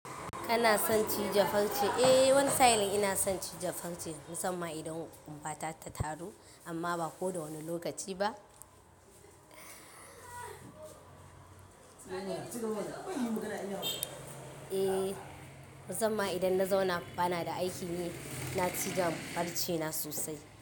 Kana son cije farci? Eh, wani sa'ilin ina son cije farce musamman idan ƙumbata ta taru amma ba ko da wane lokaci ba. Eh, musamman idan na zauna ba na da aiki ne, ina cizon farcena sosai.